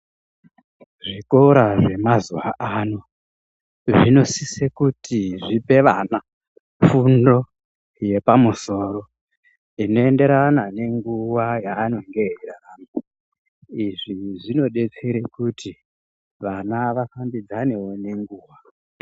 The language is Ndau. Zvikora zvemazuvaano, zvinosise kuti zvipe vana fundo yepamusoro inoenderana nenguva yaanonge eirarama izvizvinodetsere kuti vana afambidzane nenguva.